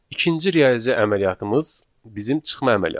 İkinci riyazi əməliyyatımız bizim çıxma əməliyyatıdır.